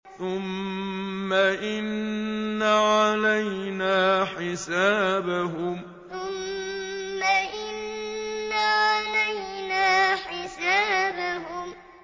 ثُمَّ إِنَّ عَلَيْنَا حِسَابَهُم ثُمَّ إِنَّ عَلَيْنَا حِسَابَهُم